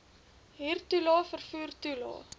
huurtoelae vervoer toelae